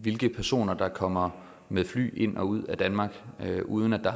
hvilke personer der kommer med fly ind og ud af danmark uden at der